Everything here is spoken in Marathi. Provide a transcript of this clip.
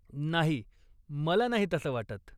नाही. मला नाही तसं वाटत.